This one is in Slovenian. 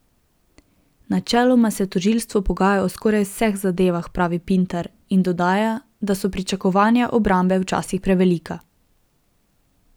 Načeloma se tožilstvo pogaja o skoraj vseh zadevah, pravi Pintar in dodaja, da so pričakovanja obrambe včasih prevelika.